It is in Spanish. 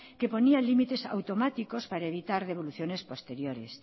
que ponía límites automáticos para evitar devoluciones posteriores